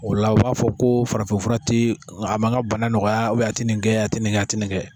O ola u b'a fɔ ko farafinfura te a ma n ga bana nɔgɔya ubiyɛn a ti nin kɛ a ti nin kɛ a ti nin kɛ a ti nin kɛ